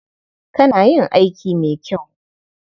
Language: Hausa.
Kana yin aiki mai kyau.